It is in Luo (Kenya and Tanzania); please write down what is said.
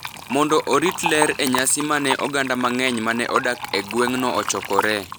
mondo orit ler e nyasi ma ne oganda mang’eny ma ne odak e gweng’no ochokoree.